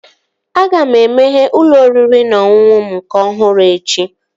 Aga m emeghe ụlọ oriri na ọṅụṅụ m nke ọhụrụ echi